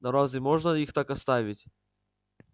но разве можно их так оставить